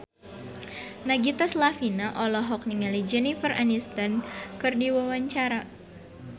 Nagita Slavina olohok ningali Jennifer Aniston keur diwawancara